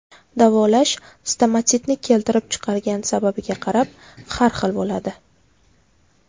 Davolash stomatitni keltirib chiqargan sababiga qarab har xil bo‘ladi.